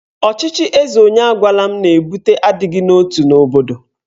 Ọchịchị eze onye agwala m na-ebute adịghị n'otu n'obodo.